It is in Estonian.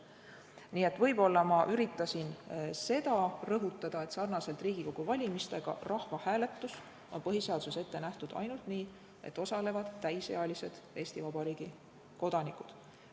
Nii et võib-olla ma üritasin seda rõhutada, et sarnaselt Riigikogu valimistega on rahvahääletus põhiseaduses ette nähtud ainult nii, et osalevad täisealised Eesti Vabariigi kodanikud.